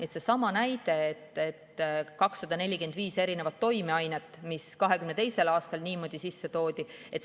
See on sama näide, et 245 erineva toimeainega toodi 2022. aastal niimoodi sisse.